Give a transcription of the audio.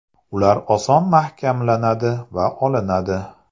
Ular oson mahkamlanadi va olinadi.